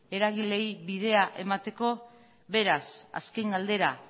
eragileei bidea emateko beraz azken galdera